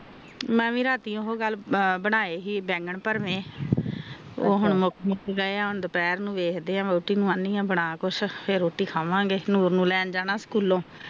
ਮੈਂ ਵੀ ਰਾਤੀ ਉਹ ਕਲ ਬਣਾਏ ਸੀ ਬੇੰਗਨ ਭਰਵੇਂ ਉਹ ਮੁਕ ਗਏ ਆ ਦੁਪਹਿਰ ਨੂੰ ਦਖਦੇ ਆ ਬਣਾਵਗੇ ਕੁਛ ਫਰ ਰੋਟੀ ਕਾਵਾਂਗੇ ਫਰ ਨੂਰ ਨੂੰ ਲੈਣ ਜਾਣਾ ਸਕੂਲ ਤੋਂ